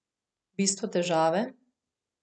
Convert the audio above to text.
Bistvo težave?